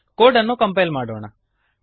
code ಅನ್ನು compile ಮಾಡೋಣ